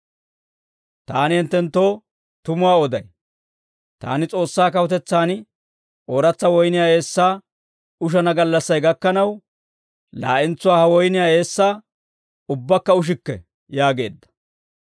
Taani hinttenttoo tumuwaa oday; taani S'oossaa kawutetsaan ooratsa woyniyaa eessaa ushana gallassay gakkanaw, laa'entsuwaa ha woyniyaa eessaa ubbakka ushikke» yaageedda.